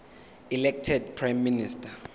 elected prime minister